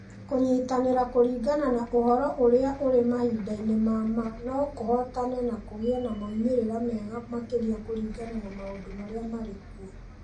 Kũnyitanĩra kũringana na ũhoro ũrĩa ũrĩ mahinda-inĩ ma ma no kũhotane na kũgĩe na moimĩrĩro mega makĩria kũringana na maũndũ marĩa marĩ kuo.